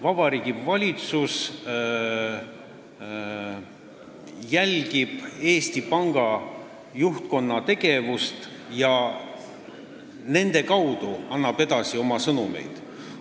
Vabariigi Valitsus jälgib Eesti Panga juhtkonna tegevust ja annab nende kaudu oma sõnumeid edasi.